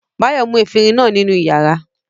Báyọ̀ mú efirin náà nínú ìyàrá.